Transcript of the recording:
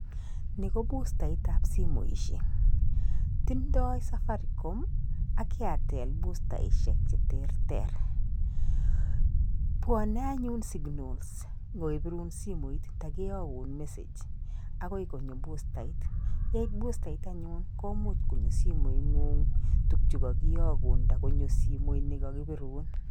Ni ko bustaitab simoisiek, tindoi Safaricom ak Airtel bustaisiek cheterter, bwone anyun signals simoit takiyokun message akoi konyo bustait, yeit bustait anyun komuch konyo simoingung tukchu kakiyokun nda konyo simoit ne kakibirun.